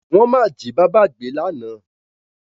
Wọ́n máa jí bábá gbé lána.